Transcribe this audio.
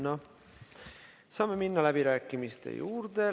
Ja saame minna läbirääkimiste juurde.